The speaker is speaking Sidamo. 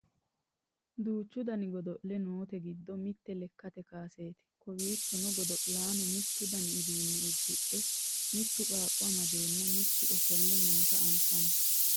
duuchu dani godo'le noote giddo mitte lekkate kaaseeti kowiichono godo'laano mittu dani uduunne uddidhe mittu qaaqqo amadeenna mittu ofolle noota anfani